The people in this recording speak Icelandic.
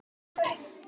Talaðu við mig!